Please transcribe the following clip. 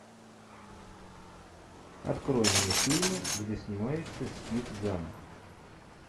открой мне фильмы где снимается стив зан